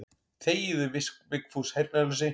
Þegiðu Vigfús heyrnarlausi.